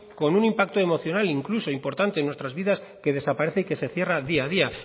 con un impacto emocional incluso importante en nuestras vidas que desaparece y que se cierra día a día